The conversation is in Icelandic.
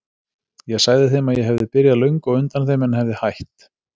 Ég sagði þeim að ég hefði byrjað löngu á undan þeim en hefði hætt.